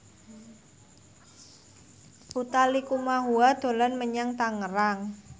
Utha Likumahua dolan menyang Tangerang